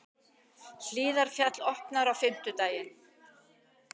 Hlíðarfjall opnar á fimmtudag